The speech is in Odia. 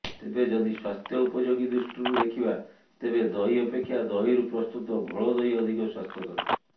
ତେବେ ଯଦି ସ୍ୱାସ୍ଥ୍ୟ ଉପଯୋଗୀ ଦୃଷ୍ଟିରୁ ଦେଖିବା ତେବେ ଦହି ଅପେକ୍ଷା ଦହିରୁ ପ୍ରସ୍ତୁତ ଘୋଳଦହି ଅଧିକ ସ୍ୱାସ୍ଥ୍ୟକର